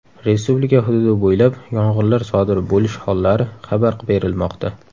Respublika hududi bo‘ylab yong‘inlar sodir bo‘lish hollari xabar berilmoqda.